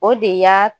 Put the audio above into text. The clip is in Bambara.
O de y'aa